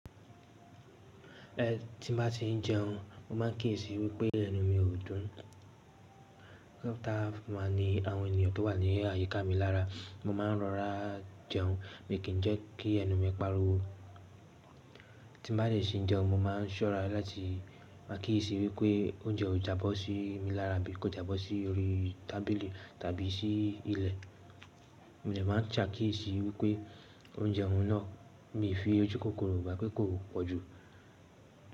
Ẹ̀n tí n bá ti n jẹun, mo má n kíyèsi wípé ẹnu mi ò dùn. Táa má ní àwọn ènìyàn tó wà ní àyíká mi lára, mo ma ń rọra jẹun mi kìn jẹ́ kí ẹnu mi pariwo. Tín bá dè ṣe n jẹun, mo ma ń ṣọ́ra láti máa kíyèsi wípé oúnjẹ o jábọ́ sí mi lára bí kò jábọ́ sí orí tábìlì tàbí sí ilẹ̀. Mo dè máa n ṣe akíyèsi wípé oúnjẹ òún náà mi fi ojú kòkòrò bá pé kò pọ̀jù.